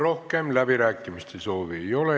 Rohkem läbirääkimiste soovi ei ole.